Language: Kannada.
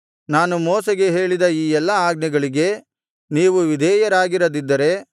ನಾನು ಮೋಶೆಗೆ ಹೇಳಿದ ಈ ಎಲ್ಲಾ ಆಜ್ಞೆಗಳಿಗೆ ನೀವು ವಿಧೇಯರಾಗಿರದಿದ್ದರೆ